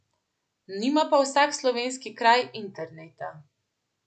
Nima pa vsak slovenski kraj interneta.